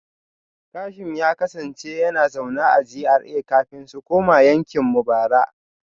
Kashim ya kasance yana zaune a GRA kafin su koma yankin mu bara